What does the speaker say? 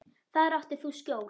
Þar áttir þú skjól.